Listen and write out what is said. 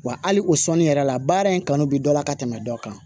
Wa hali o sɔnni yɛrɛ la baara in kanu bi dɔ la ka tɛmɛ dɔ kan